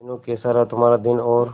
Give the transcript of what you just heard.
मीनू कैसा रहा तुम्हारा दिन और